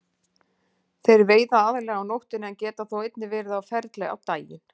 Þeir veiða aðallega á nóttunni en geta þó einnig verið á ferli á daginn.